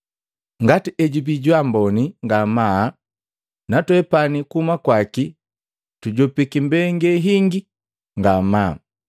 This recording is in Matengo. Ngati ejubii jwaamboni ngamaa, natwepani kuhuma kwaki tujopiki mbenge hingi ngamaa.